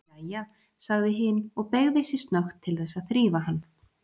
Jæja, sagði hin og beygði sig snöggt til þess að þrífa hann.